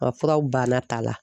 Ɔ furaw banna t'a la.